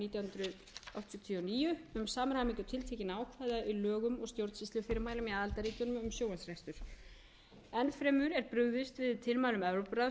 nítján hundruð áttatíu og níu um samræmingu tiltekinna ákvæða í lögum og stjórnsýslufyrirmælum í aðildarríkjunum um sjónvarps enn fremur er brugðist við tilmælum evrópuráðsins um